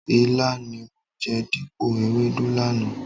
Ilá ni mo jẹ dípò ewédú lánàá.